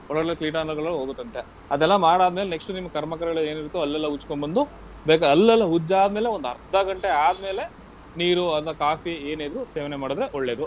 ಒಳಗಡೆ ಕೀಟಾಣುಗಳು ಹೋಗುತ್ತಂತೆ. ಅದೆಲ್ಲ ಮಾಡಾದ್ಮೇಲ್ next ನಿಮ್ಮ್ ಕರ್ಮಕಗಳೇನಿರುತ್ತೋ ಹಲ್ಲೆಲ್ಲಾ ಉಜ್ಕೊಂಬಂದು ಬೇಗ ಹಲ್ಲೆಲ್ಲ ಉಜ್ಜಾದ್ಮೇಲೆ ಒಂದರ್ಧ ಗಂಟೆ ಆದ್ಮೇಲೆ ನೀರು ಅಥವಾ coffee ಏನಿದ್ರೂ ಸೇವನೆ ಮಾಡಿದ್ರೆ ಒಳ್ಳೇದು.